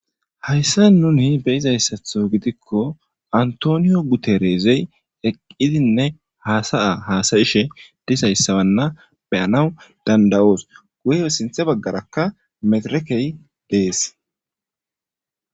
hayssa nuni beyizayssatho gidikko antoniyo gutereezey eqqidinne haasaya haasayishe disayssabanna beyanaw danda7oos guyeo sinthe baggarakka meterekey dees